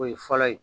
O ye fɔlɔ ye